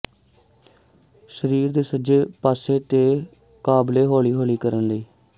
ਸਰੀਰ ਦੇ ਸੱਜੇ ਪਾਸੇ ਤੇ ਕਾਬਲੇ ਹੌਲੀ ਕਰਨ ਲਈ